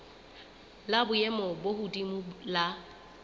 la boemo bo hodimo la